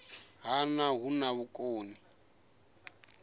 ha nha hu na vhukoni